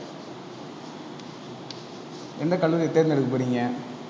எந்த கல்லூரியை தேர்ந்தெடுக்க போறீங்க?